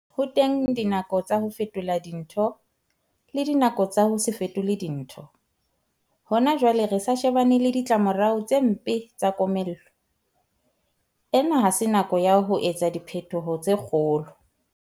Ho teng dinako tsa ho fetola dintho, le dinako tsa ho se fetole dintho. Hona jwale re sa shebane le ditlamorao tse mpe tsa komello. Ena ha se nako ya ho etsa diphetoho tse kgolo.